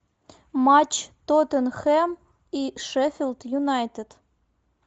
матч тоттенхэм и шеффилд юнайтед